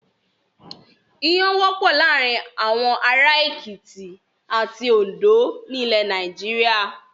Iyán wọ́pọ̀ láàárin àwọn ará Èkìtì àti Oǹdó ní ilẹ̀ Nàìjíríà.